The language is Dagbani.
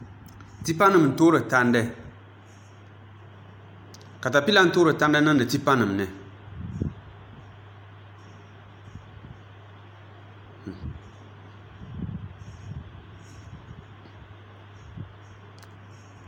Tipa nim n toori tandi katapila n toori tandi niŋdi tipa nim ni